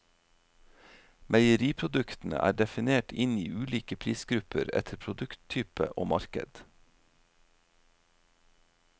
Meieriproduktene er definert inn i ulike prisgrupper etter produkttype og marked.